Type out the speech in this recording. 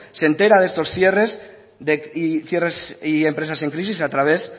se entera de estos cierres y empresas en crisis a través